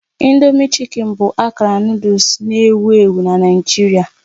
Indomie chicken bụ akara nụdles na-ewu ewu na Naịjirịa